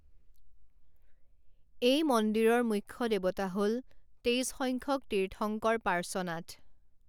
এই মন্দিৰৰ মূখ্য দেৱতা হ'ল তেইছ সংখ্যক তীৰ্থঙ্কৰ পাৰ্শ্বনাথ।